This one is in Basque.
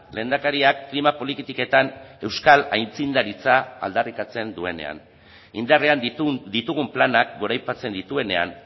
lehendakariak klima politiketan euskal aitzindaritza aldarrikatzen duenean indarrean ditugun planak goraipatzen dituenean